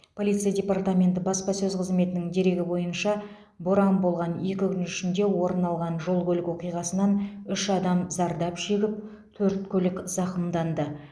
полиция департаменті баспасөз қызметінің дерегі бойынша боран болған екі күн ішінде орын алған жол көлік оқиғасынан үш адам зардап шегіп төрт көлік зақымданды